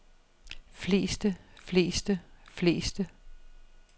fleste fleste fleste